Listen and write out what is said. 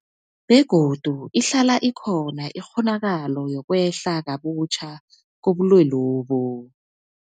Begodu ihlala ikhona ikghonakalo yokwehla kabutjha kobulwelobu.